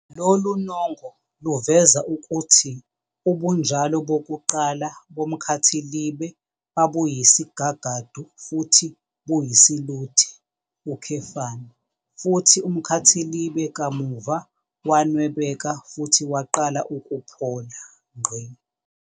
Lolu nongo luveza ukuthi ubunjalo bokuqala bomkhathilibe babusiyisigagadu futhi buyisiluthe, futhi umkhathilibe kamuva wanwebeka futhi waqala ukuphola.